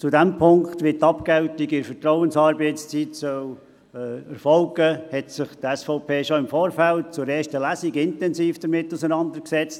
Mit der Frage, wie die Abgeltung bei Vertrauensarbeitszeit erfolgen soll, hat sich die SVP schon im Vorfeld der ersten Lesung intensiv auseinandergesetzt.